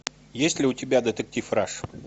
есть ли у тебя детектив раш